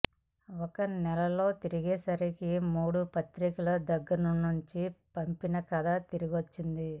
ఒక నెల్లాళ్ళు తిరిగేసరికి మూడు పత్రికల దగ్గర్నుంచి పంపిన కథ తిరిగొచ్చింది